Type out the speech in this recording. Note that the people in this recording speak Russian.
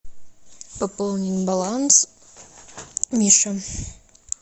пополнить баланс мише